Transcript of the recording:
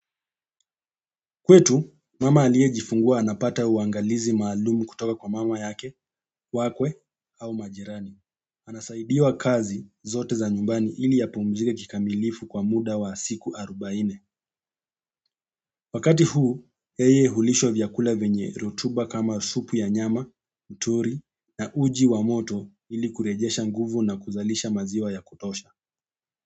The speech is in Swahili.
Kwetu mama aliyejifungua anapata uangalizi maalumu kutoka kwa mama yake wakwe au majirani. Anasaidiwa kazi zote za nyumbani ili apumzike kikamilifu kwa muda wa siku arubaine. Wakati huu, yeye hulishwa vyakula vyenye rutuba kama supu ya nyama, mturi na uji wa moto ili kurejesha nguvu na kuzalisha maziwa ya kutosha.